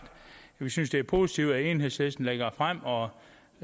synes vi det er positivt at enhedslisten lægger det frem og